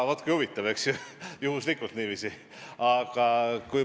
Vaat kui huvitav, eks ju – juhuslikult niiviisi!